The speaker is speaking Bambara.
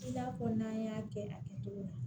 I n'a fɔ n'an y'a kɛ a kɛtogo la